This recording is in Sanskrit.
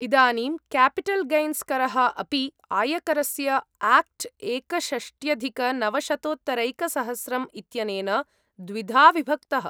इदानीं, क्यापिटल् गैन्स् करः अपि, आयकरस्य आक्ट् एकषष्ट्यधिकनवशतोत्तरैकसहस्रम् इत्यनेन द्विधा विभक्तः।